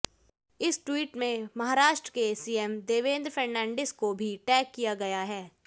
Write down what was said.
इस ट्वीट में महाराष्ट्र के सीएम देवेंद्र फडणवीस को भी टैग किया गया है